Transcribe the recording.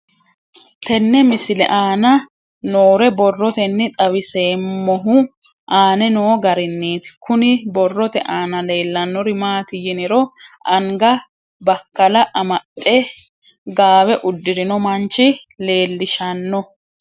Tenne misile aana noore borroteni xawiseemohu aane noo gariniiti. Kunni borrote aana leelanori maati yiniro anga bakalla amaxxe gaawe uddirinno manchi leelishshanno.